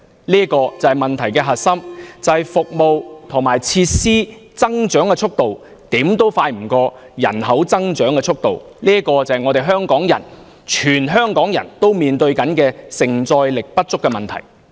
這就是問題的核心所在，就是服務和設施的增長速度追不上人口增長速度，這就是全香港市民正要面對的社會承載力不足的問題。